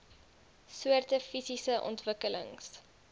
soorte fisiese ontwikkelings